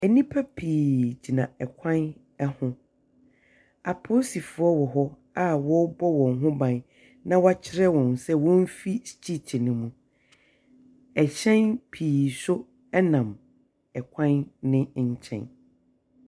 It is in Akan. Nnipa pii tena kwan ho. Apolisifoɔ wɔ hɔ a wɔrebɔ wɔn ho ban, na wɔakyerɛ wɔn sɛ wɔmfiri striiti no mu. Ɛhyɛn pii nso nam kwan no nkyɛn.